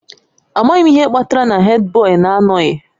Amaghị m ihe kpatara na Hèdbọyi na-anọghị